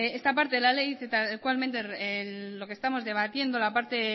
esta parte de la ley que tal cual mente en lo que estamos debatiendo la parte